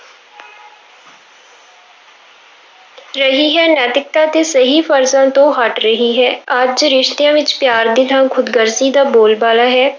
ਰਹੀ ਹੈ, ਨੈਤਿਕਤਾ ਤੇ ਸਹੀ ਫ਼ਰਜ਼ਾਂ ਤੋਂ ਹਟ ਰਹੀ ਹੈ, ਅੱਜ ਰਿਸ਼ਤਿਆਂ ਵਿੱਚ ਪਿਆਰ ਦੀ ਥਾਂ ਖ਼ੁਦਗਰਜ਼ੀ ਦਾ ਬੋਲ ਬਾਲਾ ਹੈ।